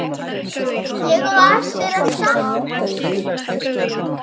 Ég á eftir að sakna mín.